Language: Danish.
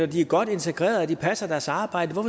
de er godt integreret og passer deres arbejde